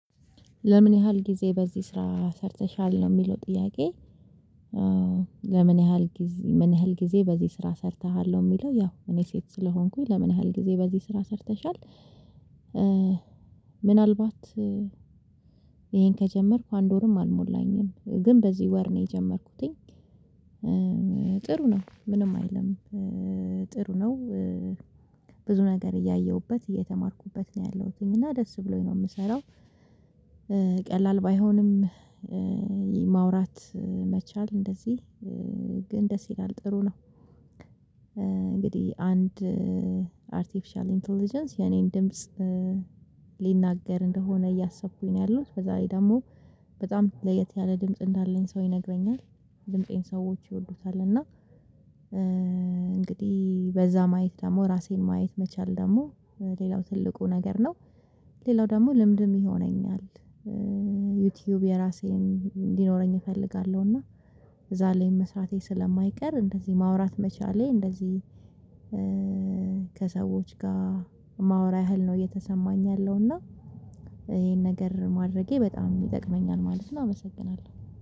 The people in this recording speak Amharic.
ለምን ያህል ጊዜ በዚህ ስራ ሰርተሻል ነው የሚለው ጥያቄ? ለምን ያህል ጊዜ ምን ያህል ጊዜ በዚህ ስራ ሰርተሃል ነው የሚለው? ያው እኔ ሴት ስለሆንኩኝ ለምን ያህል ጊዜ በዚህ ስራ ሰርተሻል። ምናልባት ይሄን ከጀመርኩ አንድ ወርም አልሞላኝም ግን በዚህ ወር ነው የጀመርኩት። ጥሩ ነው ምንም አይልም። ጥሩ ነው። ብዙ ነገር እያየሁበት እየተማርኩበት ነው ያለሁት እና ደስ ብሎኝ ነው የምሰራው። ቀላል ባይሆንም። ማውራት መቻል እንደዚህ ግን ደስ ይላል ጥሩ ነው። እንግዲህ አንድ አርቴፊሻል ኢንተለጀንስ የእኔን ድምጽ ሊናገር እንደሆነ እያሰብኩኝ ነው ያለሁት በዚያ ላይ ደግሞ በጣም ለየት ያለ ድምጽ እንዳለኝ ሰው ይነግረኛል። ድምፄን ሰዎች ይወዱታል እና። እንግዲህ በዚያ ማየት ደግሞ ራሴን ማየት መቻል ደግሞ ሌላው ትልቁ ነገር ነው። ሌላው ደግሞ ልምድም ይሆነኛል። ዩቲዩብ የራሴን እንዲኖረኝ እፈልጋለሁ እና እዚያ ላይ መስራቴ ስለማይቀር እንደዚህ ማውራት መቻሌ እንደዚህ። ከሰዎች ጋር ማወራት ያህል ነው እየተሰማኝ ያለው እና ይሄን ነገር ማድረጌ በጣም ይጠቅመኛል ማለት ነው። አመሰግናለሁ